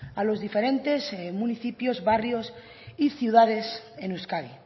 a los diferentes municipios barrios y ciudades en euskadi